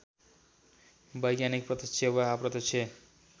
वैज्ञानिक प्रत्यक्ष वा अप्रत्यक्ष